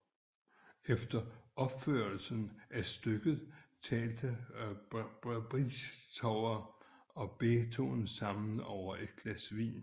Efter opførelsen af stykket talte Bridgetower og Beethoven sammen over et glas vin